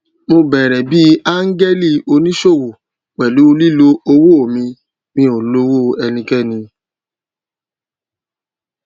mo bẹrẹ bí áńgẹlì oníṣòwò pẹlú lílo owó mi mi ò lówó ẹnikẹni